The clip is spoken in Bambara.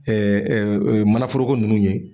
manaforoko nunnu ye